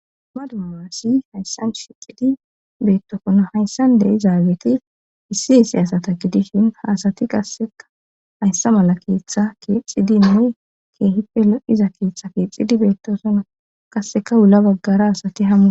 Dumma dumma aassi hayssan shicidi beettofono hayssande izaageti issi issi asata gidishin haasati qasseka hayssa mala keeththa kiixxidinne keehipelo7iza keiththa kiixxidi beettosono qasseka wula baggara asati hammu